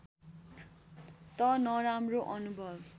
त नराम्रो अनुभव